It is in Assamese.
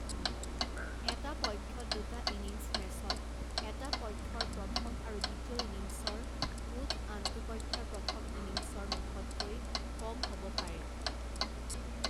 এটা পক্ষত দুটা ইনিংছ মেচত, এটা পক্ষৰ প্ৰথম আৰু দ্বিতীয় ইনিংছৰ মুঠ আনটো পক্ষৰ প্ৰথম ইনিংছৰ মুঠতকৈ কম হ'ব পাৰে।